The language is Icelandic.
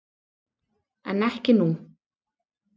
En ekki nú.